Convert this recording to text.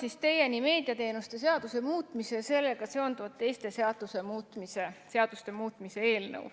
Toon teieni meediateenuste seaduse muutmise ja sellega seonduvalt teiste seaduste muutmise seaduse eelnõu.